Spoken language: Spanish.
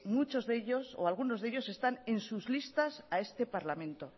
muchos de ellos o algunos de ellos están en sus listas a este parlamento